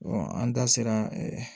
an da sera